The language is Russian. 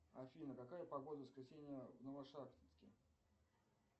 афина какая погода в воскресенье в новошахтинске